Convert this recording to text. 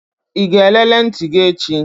Ị ga-elele ntị gị echi?